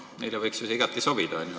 Neile võiks see ju igati sobida.